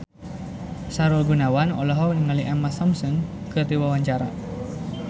Sahrul Gunawan olohok ningali Emma Thompson keur diwawancara